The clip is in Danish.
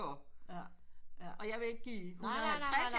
Og jeg vil ikke give 150